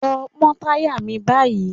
Lọ pọ́ táyà mi báyìí.